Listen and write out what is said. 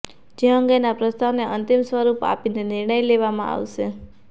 જે અંગેનાં પ્રસ્તાવને અંતિમ સ્વરૂપ આપીને નિર્ણય લેવામાં આવશે